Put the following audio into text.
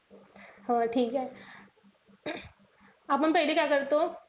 हो ठीके. आपण पहिले काय करतो,